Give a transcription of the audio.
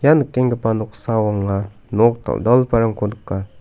ia nikenggipa noksao anga nok dal·dalgiparangko nika.